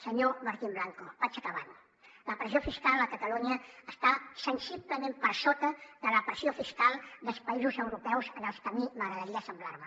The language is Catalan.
senyor martín blanco vaig acabant la pressió fiscal a catalunya està sensiblement per sota de la pressió fiscal dels països europeus als que a mi m’agradaria assemblar me